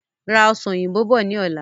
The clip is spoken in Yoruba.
Ra Ọsàn òyìnbó bọ̀ ni ọ̀la!